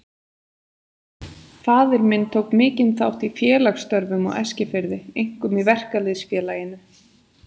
Faðir minn tók mikinn þátt í félagsstörfum á Eskifirði, einkum í Verkalýðs- félaginu.